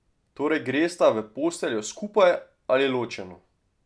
Torej, gresta v posteljo skupaj ali ločeno?